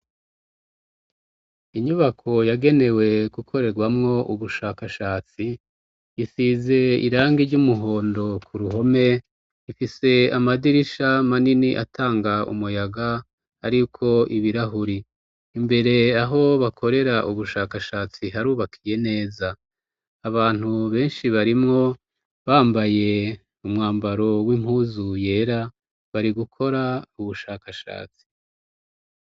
Inyubako yagenewe gukorerwamwo ubushakashatsi, isize irangi ry'umuhondo ku ruhome, ifise amadirisha manini atanga umuyaga ariko ibirahuri. Imbere aho bakorera ubushakashatsi harubakiye neza, abantu benshi barimwo bambaye umwambaro w'impuzu yera, bari gukora ubushakashatsi.